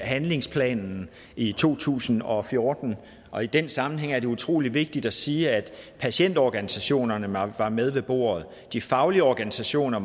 handlingsplanen i to tusind og fjorten og i den sammenhæng er det utrolig vigtigt at sige at patientorganisationerne var var med ved bordet de faglige organisationer